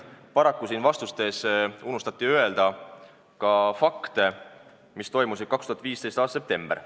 Paraku unustati vastustes mainida fakte, seda, mis toimus 2015. aasta septembris.